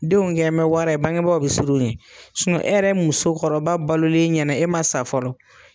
Denw kɛn bɛ wara ye bange baaw bɛ sir'u ɲɛ e yɛrɛ muso kɔrɔba balolen ɲɛnɛ e man sa fɔlɔ.